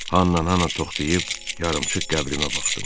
Hannan ana toxdıyıb yarımçıq qəbrimə baxdım.